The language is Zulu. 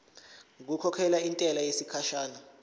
ngokukhokhela intela yesikhashana